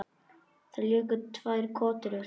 Þeir léku tvær kotrur.